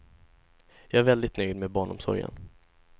Jag är väldigt nöjd med barnomsorgen.